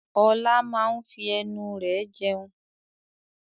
Ọlá máa n fi ẹnu rẹ jẹun